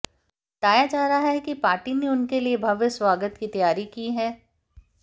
बताया जा रहा है कि पार्टी ने उनके लिए भव्य स्वागत की तैयारी की है